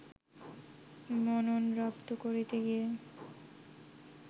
মনন রপ্ত করতে গিয়ে